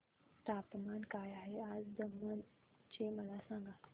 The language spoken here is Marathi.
तापमान काय आहे आज दमण चे मला सांगा